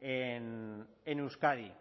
en euskadi